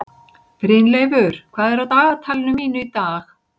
Brynleifur, hvað er á dagatalinu mínu í dag?